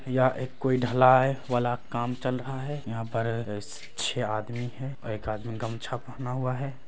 यहाँ एक कोई ढलाए वाला काम चल रहा है यहाँ पर स छह आदमी है और एक आदमी गमछा पहना हुआ है।